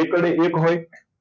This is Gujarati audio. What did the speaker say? એકડ એક હોય